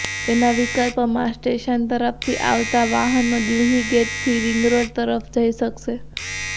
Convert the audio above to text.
તેના વિકલ્પમાં સ્ટેશન તરફથી આવતા વાહનો દિલ્હીગેટથી રિંગરોડ તરફ જઇ શકશે